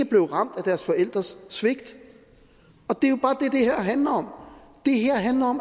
blev ramt af deres forældres svigt og handler om